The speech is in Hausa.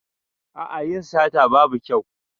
A'a yin sata babu kyau.